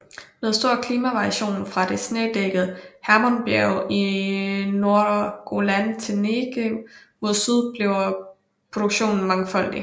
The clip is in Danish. Med stor klimavariation fra det snedækkede Hermonbjerg i nordre Golan til Negev mod syd bliver produktionen mangfoldig